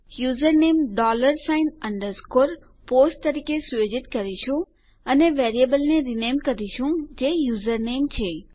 username dollar sign underscore post તરીકે સુયોજિત કરીશું અને વેરીએબલ ને રીનેમ કરીશું જે યુઝરનેમ છે